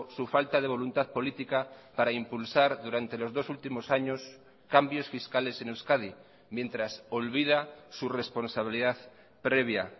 su falta de voluntad política para impulsar durante los dos últimos años cambios fiscales en euskadi mientras olvida su responsabilidad previa